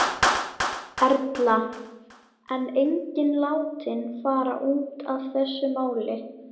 Erla: En enginn látinn fara út af þessu máli?